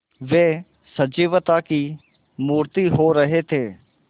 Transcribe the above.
वे सजीवता की मूर्ति हो रहे थे